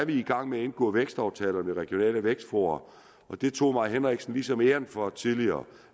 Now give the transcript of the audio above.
vi i gang med at indgå vækstaftaler med regionale vækstfora og det tog fru mai henriksen ligesom æren for tidligere